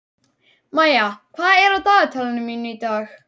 Maía, hvað er á dagatalinu mínu í dag?